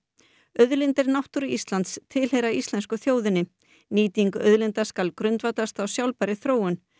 auðlindir náttúru Íslands tilheyra íslensku þjóðinni nýting auðlinda skal grundvallast á sjálfbærri þróun